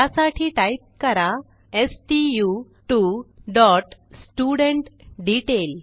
त्यासाठी टाईप करा stu2studentDetail